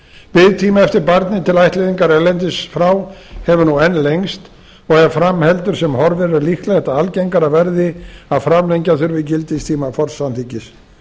biðtími eftir barni til ættleiðingar erlendis frá hefur nú enn lengst og ef fram heldur sem horfir er líklegt að algengara verði að framlengja þurfi gildistíma forsamþykkis